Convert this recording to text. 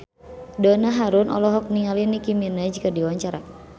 Donna Harun olohok ningali Nicky Minaj keur diwawancara